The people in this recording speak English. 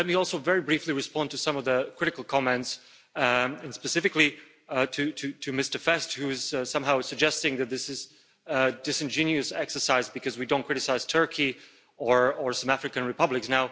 Let me also very briefly respond to some of the critical comments and, specifically, to Mr Fest, who is somehow suggesting that this is a disingenuous exercise because we don't criticise Turkey or some African Republics.